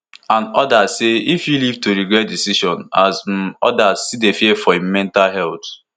and odas say e fit live to regret di decision as um odas still dey fear for im mental heath